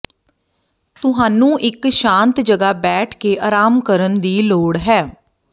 ਤੁਹਾਨੂੰ ਇੱਕ ਸ਼ਾਂਤ ਜਗ੍ਹਾ ਬੈਠ ਕੇ ਆਰਾਮ ਕਰਨ ਦੀ ਲੋੜ ਹੈ